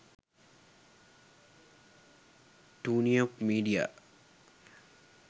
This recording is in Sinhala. tuneup media